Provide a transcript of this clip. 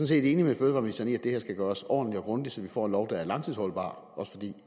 set enig med fødevareministeren i at det her skal gøres ordentligt og grundigt så vi får en lov der er langtidsholdbar også fordi